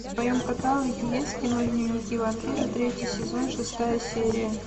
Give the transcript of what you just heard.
в твоем каталоге есть кино дневники вампира третий сезон шестая серия